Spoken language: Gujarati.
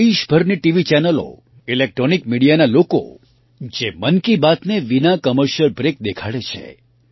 દેશભરની ટીવી ચૅનલો ઇલેક્ટ્રૉનિક મિડિયાના લોકો જે મન કી બાતને વિના કૉમર્શિયલ બ્રૅક દેખાડે છે